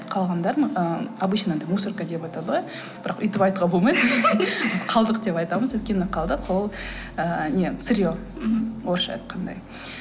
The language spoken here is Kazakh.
қалғандарын ы обычно анадай мусорка деп айтады ғой бірақ өйтіп айтуға болмайды біз қалдық деп айтамыз өйткені қалдық ол ыыы не сырье мхм орысша айтқандай